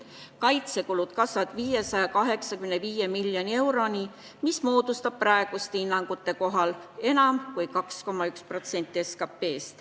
Kaitsekulud kasvavad 585 miljoni euroni, mis moodustab praeguste hinnangute kohaselt enam kui 2,1% SKP-st.